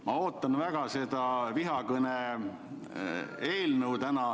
Ma ootan väga seda tänast vihakõne eelnõu.